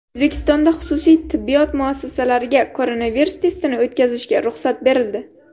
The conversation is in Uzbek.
O‘zbekistonda xususiy tibbiyot muassasalariga koronavirus testini o‘tkazishga ruxsat berildi.